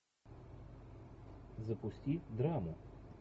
запусти драму